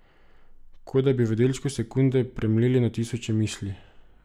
Kot da bi v delčku sekunde premleli na tisoče misli.